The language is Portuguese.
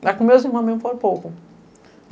Mas com meus irmãos mesmo foi pouco.